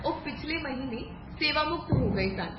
ਉਹ ਪਿਛਲੇ ਮਹੀਨੇ ਸੇਵਾਮੁਕਤ ਹੋ ਗਏ ਸਨ